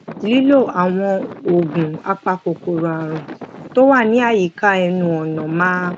lílo àwọn oògùn apakòkòrò àrùn tó wà ní àyíká ẹnu ònà máa